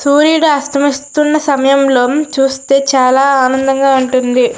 సూర్యుడు అస్తమిస్తున్న సమయంలో చూస్తే చాలా ఆనందంగా ఉంటుంది.